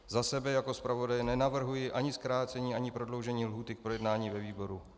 Za sebe jako zpravodaje nenavrhuji ani zkrácení ani prodloužení lhůty k projednání ve výboru.